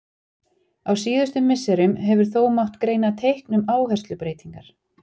Á síðustu misserum hefur þó mátt greina teikn um áherslubreytingar.